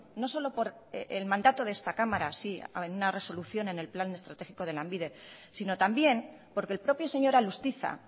no solo por el mandato de esta cámara sí en una resolución en el plan estratégico de lanbide sino también porque el propio señor alustiza